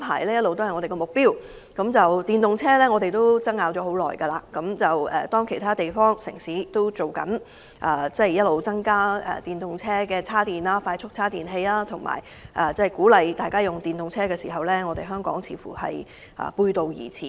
在推動使用電動車方面，我們爭拗了很長時間，當其他城市正在增設電動車快速充電器及鼓勵人們使用電動車之際，香港卻似乎背道而馳。